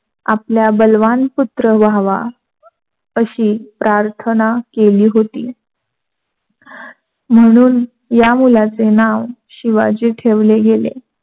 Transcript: आपल्या बलवानपुत्र व्हावा अशी प्रार्थना केली होती. म्हणून या मुलाचे नाव शिवाजी ठेवले गेले.